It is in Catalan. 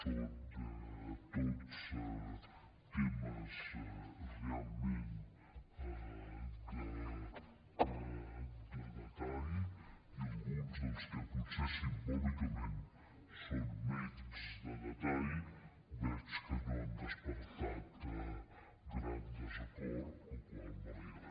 són tots temes realment de detall i alguns dels que potser simbòlicament són menys de detall veig que no han despertat gran desacord cosa que m’alegra